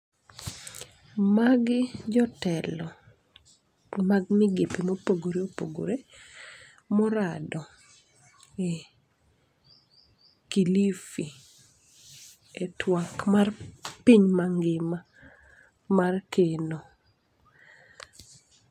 Magi jotelo mag migepe mopogore opogore morado e Kilifi, e twak mar piny mangima mar keno.